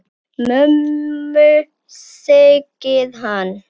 Mömmu, segir hann.